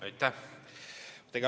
Aitäh!